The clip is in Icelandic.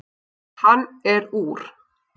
Hann er úr